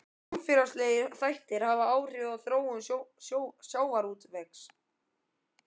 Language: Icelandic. Ýmsir samfélagslegir þættir hafa áhrif á þróun sjávarútvegs.